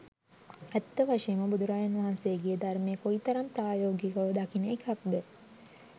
ඇත්ත වශයෙන්ම බුදුරජාණන් වහන්සේගේ ධර්මය කොයිතරම් ප්‍රායෝගිකව දකින එකක්ද?